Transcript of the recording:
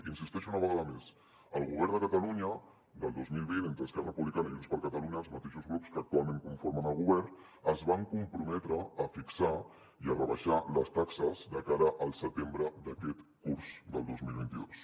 hi insisteixo una vegada més el govern de catalunya del dos mil vint entre esquerra republicana i junts per catalunya els mateixos grups que actualment conformen el govern es van comprometre a fixar i a rebaixar les taxes de cara al setembre d’aquest curs del dos mil vint dos